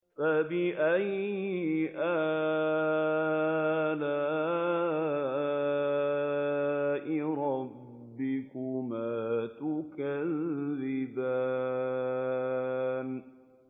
فَبِأَيِّ آلَاءِ رَبِّكُمَا تُكَذِّبَانِ